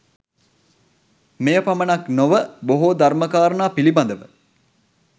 මෙය පමණක් නොව, බොහෝ ධර්ම කාරණා පිළිබඳව